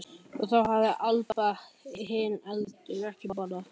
Og þá hafði Abba hin heldur ekki getað borðað.